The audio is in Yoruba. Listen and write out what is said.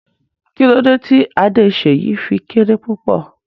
Kí lódẹ tí Adé Seyi fí kéré púpọ̀?